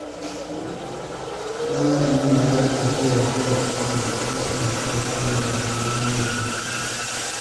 Bayan Aminu ya yi tafiya zuwa ƙauye, ya fahimci wahalar rayuwar manoma.